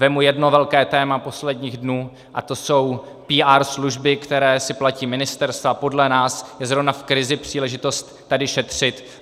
Vezmu jedno velké téma posledních dnů a to jsou PR služby, které si platí ministerstva, a podle nás je zrovna v krizi příležitost tady šetřit.